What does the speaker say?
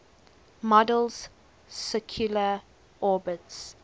model's circular orbits